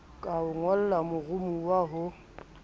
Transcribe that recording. ka ho ngolla moromowa ho